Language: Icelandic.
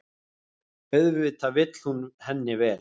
Auðvitað vill hún henni vel.